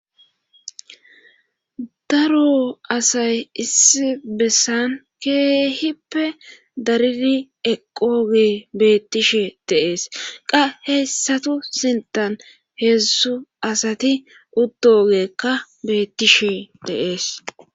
Daro asay issi bessan keehippe daridi eqooge beettishe deees qa heyssatu sintan heezsu asati utdogeekka beettishe deees